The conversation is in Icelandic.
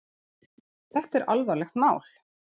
Þetta er alvarlegt mál.